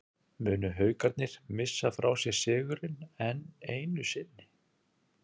Munu Haukarnir missa frá sér sigurinn, enn einu sinni???